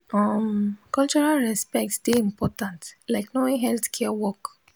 um cultural respect dey important like knowing healthcare work